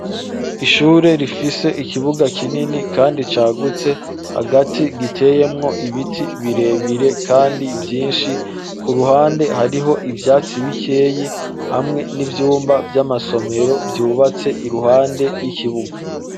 Ishure rifise ikibuga kinini kandi cagutse, hagati giteyemwo ibiti birebire kandi vyinshi ,ku ruhande hariho ivyatsi bikeyi ,hamwe n'ivyumba vy'amasomero vyubatse iruhande y'ikibuga.